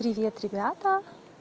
привет ребята